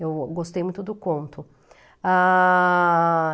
Eu gostei muito do conto. Ah...